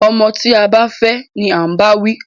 Ọmọ tí a bá fẹ́ ni à ń báwí.